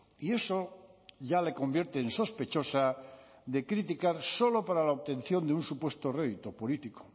y eso ya le convierte en sospechosa de criticar solo para la obtención de un supuesto rédito político